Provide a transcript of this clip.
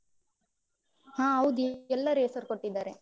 ಹಾ ಹೌದಿ, ಎಲ್ಲರು ಹೆಸರು ಕೊಟ್ಟಿದ್ದಾರೆ.